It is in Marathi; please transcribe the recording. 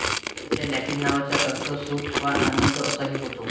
तिच्या लॅटीन नावाचा अर्थ सुख वा आनंद असा ही होतो